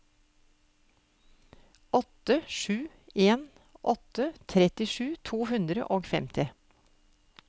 åtte sju en åtte trettisju to hundre og femti